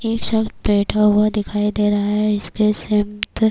یہ شخص بیٹھا ہوا دکھایی دے رہا ہے، اسمے سمے --